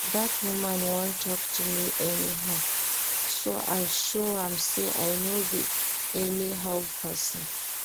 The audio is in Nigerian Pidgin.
Dat woman wan talk to me anyhow so I show am say I no be anyhow person